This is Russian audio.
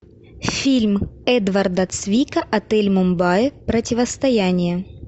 фильм эдварда цвика отель мумбаи противостояние